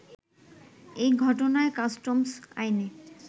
এই ঘটনায় কাস্টমস আইনে